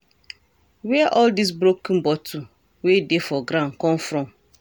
Where all dis broken bottle wey dey for ground come from?